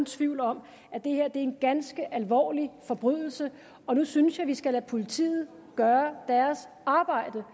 tvivl om at det her er en ganske alvorlig forbrydelse og nu synes jeg vi skal lade politiet gøre deres arbejde